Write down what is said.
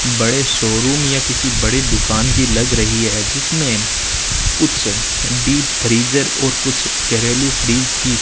बड़े शोरूम या किसी बड़ी दुकान की लग रही है जिसमें कुछ डीप फ्रीजर और कुछ घरेलू फ्रिज की --